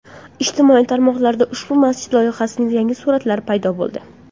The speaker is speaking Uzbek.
Ijtimoiy tarmoqlarda ushbu masjid loyihasining yangi suratlari paydo boldi.